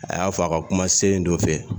A y'a fɔ a ka kumasen dɔ fɛ